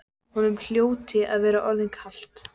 Honum hljóti að vera orðið kalt.